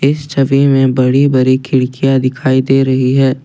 इस छवि में बड़ी बड़ी खिड़कियां दिखाई दे रही है।